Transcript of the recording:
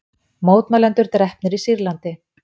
Mótmælendur drepnir í Sýrlandi